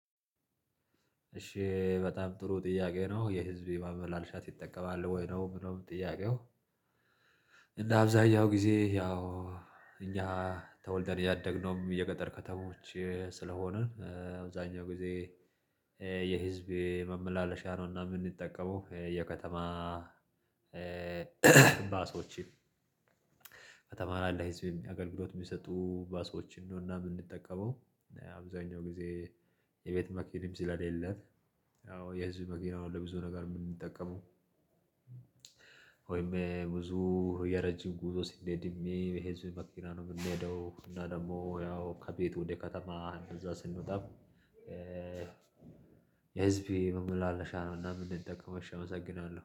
እሺ በጣም ጥሩ ጥያቄ ነው የህዝብ ማመላለሻ ትጠቀማል ወይ ነው የምለው ጥያቄው? እና አብዛኛው ጊዜ ያው እኛ ተወልደን ያደግነውም የገጠር ከተሞች ስለሆንን አብዛኛው ጊዜ የህዝብ የማመላለሻ ነውና የምንጠቀመው የከተማ ባሶችን ከተማ ላይ ለሕዝብ አገልግሎት የሚሰጡ ባሶችን ነው እና የምንጠቀመው አብዛኛውን ግዜ። የቤት መኪና ስለሌለ ያው የህዝብ መኪናው። ወይም ብዙ የረጅም ጉዞ ስንሄድም በህዝብ መኪና ነው የምንሄደው። እና ደግሞ ያው ከቤት ወደ ከተማ እንደዛ ስንወጣ። የህዝቤ ማመላለሻ ነው እና የምንጠቀመው። እሺ አመሰግናለሁ